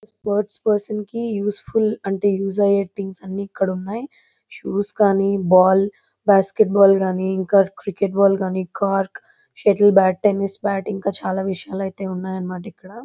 Sport person కి useful అంటే use అయ్యటివి అన్ని ఇక్కడ ఉన్నాయ్. షూస్ కానీ బాల్ బాస్కెట్ బాల్ గానీ ఇంకా క్రికెట్ బాల్ కార్చ్క్ ఇంకా సెట్టిల్ బ్యాట్ టెన్నిస్ బాట్ ఇంకా చాలా విషయాలు అయితే ఉన్నాయ్ అన్నమాట ఇక్కడ.